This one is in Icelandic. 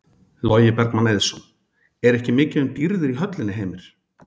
Logi Bergmann Eiðsson: Er ekki mikið um dýrðir í höllinni Heimir?